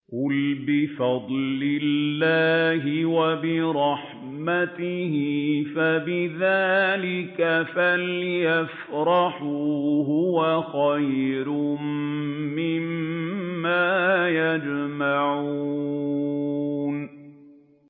قُلْ بِفَضْلِ اللَّهِ وَبِرَحْمَتِهِ فَبِذَٰلِكَ فَلْيَفْرَحُوا هُوَ خَيْرٌ مِّمَّا يَجْمَعُونَ